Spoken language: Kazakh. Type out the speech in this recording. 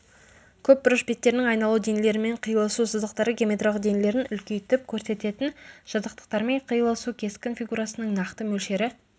көпбұрыш беттерінің айналу денелерімен қиылысу сызықтары геометриялық денелердің үлкейтіп көрсететін жазықтықтармен қиылысуы кескін фигурасының нақты мөлшері